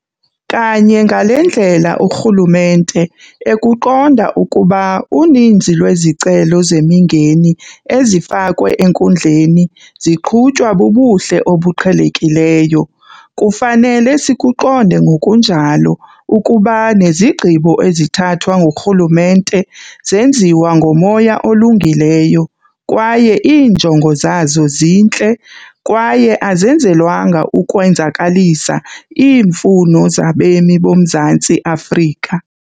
Kanye ngale ndlela urhulumente ekuqonda ukuba uninzi lwezicelo zemingeni ezifakwe enkundleni ziqhutywa bubuhle obuqhelekileyo, kufanele sikuqonde ngokunjalo ukuba nezigqibo ezithathwa ngurhulumente zenziwa ngomoya olungileyo kwaye iinjongo zazo zintle, kwaye azenzelwanga ukwenzakalisa, iimfuno zabemi boMzantsi Afrika.